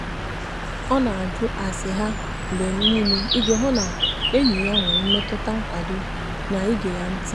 ọ na-ajụ ase ha mgbe niile iji hụ na enyi ya nwere mmetụta nkwado na ige ya ntị.